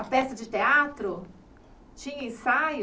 A peça de teatro tinha ensaio?